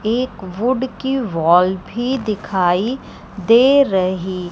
एक वुड की वॉल भी दिखाई दे रही--